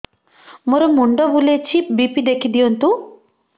ମୋର ମୁଣ୍ଡ ବୁଲେଛି ବି.ପି ଦେଖି ଦିଅନ୍ତୁ